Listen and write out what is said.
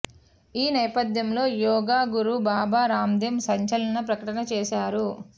ఈ నేపథ్యంలో యోగా గురు బాబా రాందేవ్ సంచలన ప్రకటన చేశారు